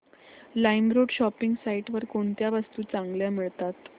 LimeRoad shopping site वर कोणत्या वस्तू चांगल्या मिळतात